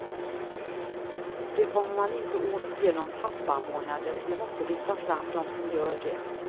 Det kommer man inte åt genom pappamånader, vi måste lyfta fram de som gör det.